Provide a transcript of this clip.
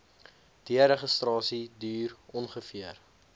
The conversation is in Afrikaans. deregistrasie duur ongeveer